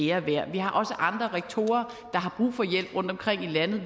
ære værd vi har også andre rektorer rundtomkring i landet